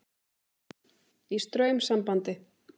Í straumsambandi.